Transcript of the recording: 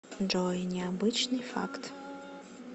джой необычный факт